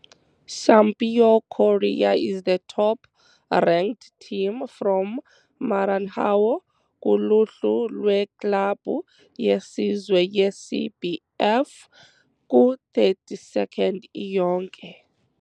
Sampaio Corrêa is the top ranked team from Maranhão kuluhlu lweklabhu yesizwe yeCBF, ku-32nd iyonke.